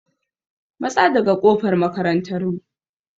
Matsa daga ƙofar makarantar mu!